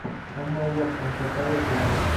эмма уотсон посоветуй мне